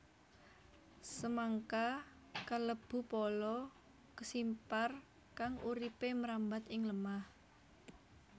Semangka kalebu pala kesimpar kang uripé mrambat ing lemah